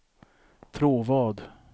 Tråvad